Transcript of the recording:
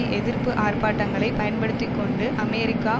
எதிர்ப்பு ஆர்ப்பாட்டங்களை பயன்படுத்தி கொண்டு அமெரிக்கா